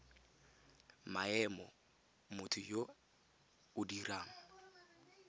maemo motho yo o dirang